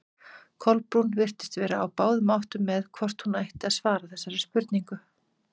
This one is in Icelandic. Kolbrún virtist vera á báðum áttum með hvort hún ætti að svara þessari spurningu.